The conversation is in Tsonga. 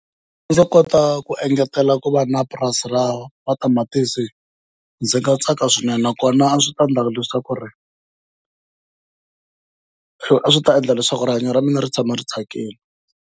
Loko ndzo kota ku engetela ku va na purasi ra matamatisi ndzi nga tsaka swinene, nakona a swi ta endla leswaku a swi ta endla leswaku rihanyo ra mina ri tshama ri tsakile.